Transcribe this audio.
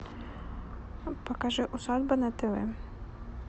покажи усадьба на тв